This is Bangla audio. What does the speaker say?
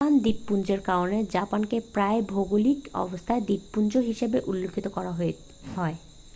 "জাপান দ্বীপপুঞ্জের কারণে জাপানকে প্রায়শই ভৌগলিক অবস্থানে "দ্বীপপুঞ্জ" হিসাবে উল্লেখ করা হয়